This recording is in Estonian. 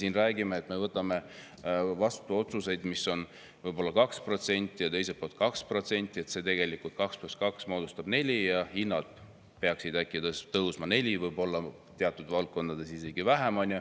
Kui me räägime, et me võtame vastu, mis on 2% ja 2%, siis see 2 + 2 moodustabki 4 ja hinnad peaksid tõusma 4%, teatud valdkondades võib-olla isegi vähem.